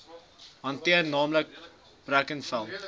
hanteer naamlik brackenfell